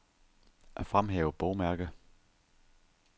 Fremhæv bogmærke.